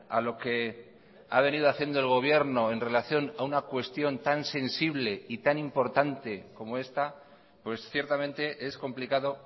a lo que ha venido haciendo el gobierno en relación a una cuestión tan sensible y tan importante como esta pues ciertamente es complicado